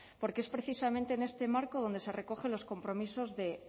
porque es precisamente en este marco donde se recogen los compromisos de